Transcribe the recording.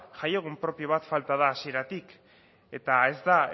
jaiegun propio bat falta da hasieratik eta ez da